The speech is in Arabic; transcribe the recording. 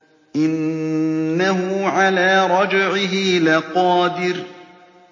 إِنَّهُ عَلَىٰ رَجْعِهِ لَقَادِرٌ